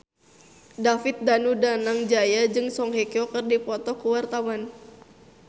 David Danu Danangjaya jeung Song Hye Kyo keur dipoto ku wartawan